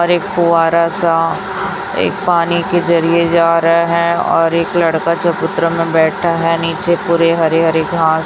और एक फुव्वारा सा एक पानी के जरिए जा रहे है और एक लड़का चबूतरा में बैठा है नीचे पूरे हरे-हरे घास --